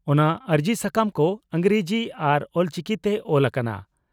ᱚᱱᱟ ᱟᱹᱨᱡᱤ ᱥᱟᱠᱟᱢ ᱠᱚ ᱤᱸᱜᱽᱨᱟᱡᱤ ᱟᱨ ᱚᱞᱪᱤᱠᱤ ᱛᱮ ᱚᱞ ᱟᱠᱟᱱᱟ ᱾